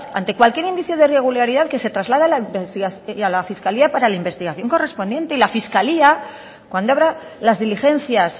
ante cualquier indicio de irregularidad que se traslade a la fiscalía para la investigación correspondiente y la fiscalía cuando habrá las diligencias